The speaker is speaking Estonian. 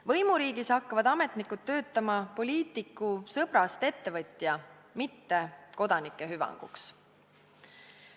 Võimuriigis hakkavad ametnikud töötama poliitiku sõbrast ettevõtja, mitte kodanike hüvanguks.